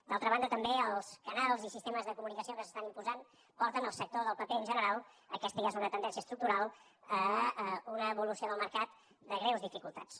d’altra banda també els canals i sistemes de comunicació que s’estan imposant porten el sector del paper en general aquesta ja és una tendència estructural a una evolució del mercat de greus dificultats